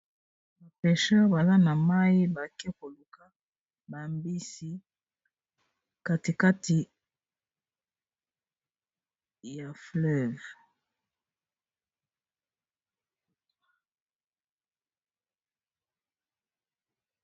Ba pecheur baza na mayi bake koluka ba mbisi katikati ya fleuve.